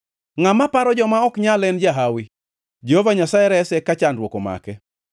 Ngʼama paro joma ok nyal en jahawi; Jehova Nyasaye rese ka chandruok omake.